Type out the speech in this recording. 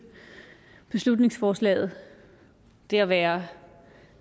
beslutningsforslaget det at være